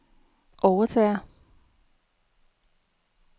overtager